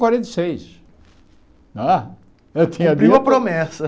Quarenta e seis não é Cumpriu a promessa.